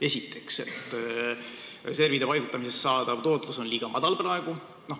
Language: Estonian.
Esiteks, reservide paigutamisest saadav tootlus on praegu liiga madal.